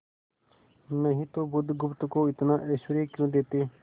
नहीं तो बुधगुप्त को इतना ऐश्वर्य क्यों देते